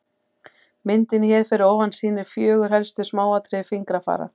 myndin hér fyrir ofan sýnir fjögur helstu smáatriði fingrafara